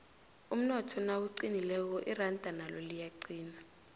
umnotho nawuqinileko iranda nalo liyaqina